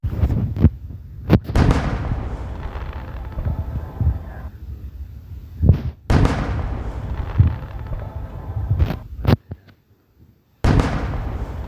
ore olchani ooki naa keji Albendazole